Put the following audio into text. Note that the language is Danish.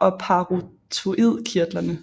og parotoidkirtlerne